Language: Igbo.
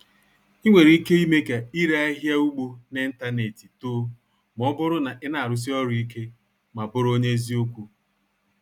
Ị nwere ike ime ka ire ahịa ugbo n'ịntanetị too ma ọ bụrụ na ị na-arụsi ọrụ ike ma bụrụ onye eziokwu.